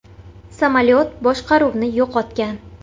Samolyot boshqaruvni yo‘qotgan.